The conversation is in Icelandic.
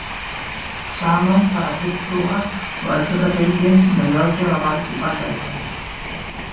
Saman fara fulltrúa- og öldungadeildin með löggjafarvald í Bandaríkjunum.